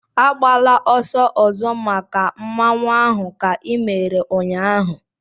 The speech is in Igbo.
Agbala ọsọ ọzọ make Mmanwu ahụ ka i mere ụnyaahụ!